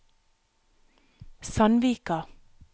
Sandvika